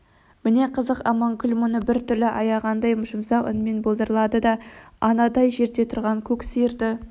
міне қызық аманкүл мұны бір түрлі аяғандай жұмсақ үнмен былдырлады да анадай жерде тұрған көк сиырды